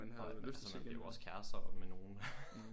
Og altså blev jo også kærester med nogen